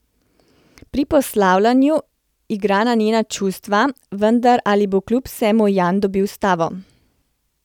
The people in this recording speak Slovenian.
Pri poslavljanju igra na njena čustva, vendar ali bo kljub vsemu Jan dobil stavo?